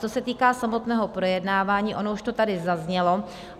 Co se týká samotného projednávání, ono už to tady zaznělo.